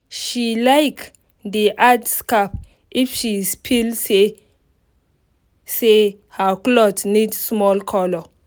she like dey add scarf if shes feel say say her cloth need small colour